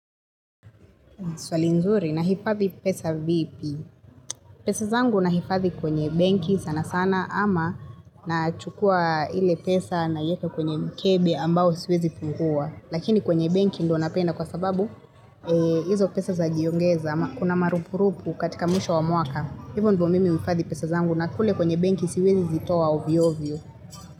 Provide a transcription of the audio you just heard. Swali nzuri nahifadhi pesa vipi?. Pesa zangu nahifadhi kwenye benki sana sana ama nachukua ile pesa naieka kwenye mkebe ambao siwezi fungua. Lakini kwenye benki ndio napenda kwa sababu hizo pesa zajiongeza. Kuna marupurupu katika mwisho wa mwaka. Hivo ndo mimi huhifadhi pesa zangu na kule kwenye benki siwezi zitoa ovyo ovyo.